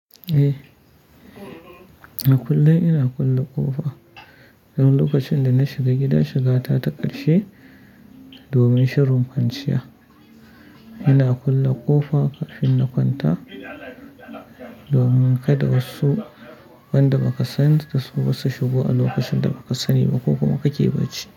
Eh, a kullum ina kulle ƙofa don lokacin da na shiga gida shiga ta ta ƙarshe domin shirin kwanciya. Ina kulle ƙofa kafin na kwanta domin kada wasu wanda baka sansu ba su ba su shigo a lokacin da bakasani ba ko kuma kake bacci.